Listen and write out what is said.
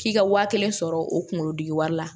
K'i ka waa kelen sɔrɔ o kungolo diki wari la